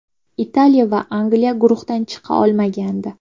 Italiya va Angliya guruhdan chiqa olmagandi.